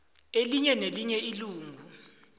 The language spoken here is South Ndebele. elinye nelinye ilungu